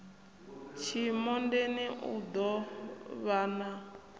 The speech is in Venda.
tshimondeni u ḓo vhan a